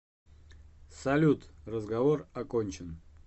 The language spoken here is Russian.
салют разговор окончен